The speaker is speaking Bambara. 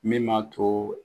Min m'a to